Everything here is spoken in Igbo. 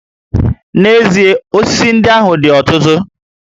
N'ezie, osisi ndị ahụ dị ọtụtụ